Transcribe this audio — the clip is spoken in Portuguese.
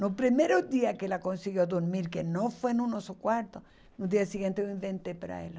No primeiro dia que ela conseguiu dormir, que não foi no nosso quarto, no dia seguinte eu inventei para ela.